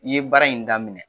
I ye baara in daminɛ